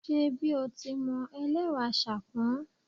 Ṣe bí o ti mọ, ẹlẹ́wà ṣàpọ́n